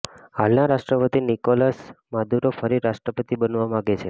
હાલના રાષ્ટ્રપતિ Nicolas Maduro ફરી રાષ્ટ્રપતિ બનવા માગે છે